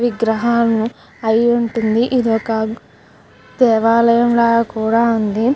విగ్రహాలను అయివుంటుంద ఇది ఒక దేవాలయం లా కూడా ఉంది.